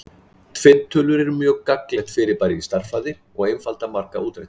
tvinntölur eru mjög gagnlegt fyrirbæri í stærðfræði og einfalda marga útreikninga